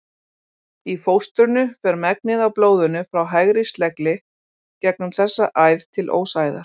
Í fóstrinu fer megnið af blóðinu frá hægri slegli gegnum þessa æð til ósæðar.